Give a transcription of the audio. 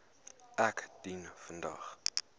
ek dien vandag